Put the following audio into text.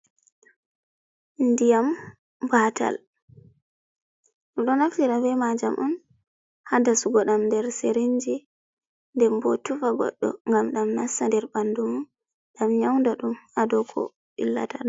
Ndiyam Batal: Ɗum ɗo naftira be majam on ha dasugo ɗam nder sirinji nden bo tufa goɗɗo ngam ɗam nasta nder ɓandum mum, ɗam nyaunda ɗum ha dou ko ɓillata ɗum.